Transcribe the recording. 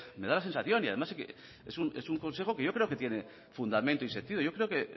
me da la sensación y además es un consejo que yo creo que tiene fundamento y sentido yo creo que